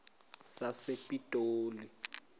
sasepitoli